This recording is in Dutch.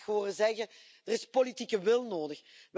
Ik heb u graag horen zeggen Er is politieke wil nodig.